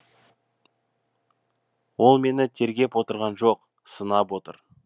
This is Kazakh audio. ол мені тергеп отырған жоқ сынап отыр